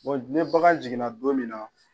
ne bagan jiginna don min na.